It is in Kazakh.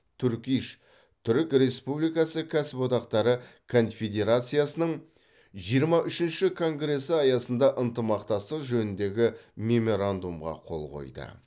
турк иш түрік республикасы кәсіподақтары конфедерациясының жиырма үшінші конгресі аясында ынтымақтастық жөніндегі меморандумға қол қойды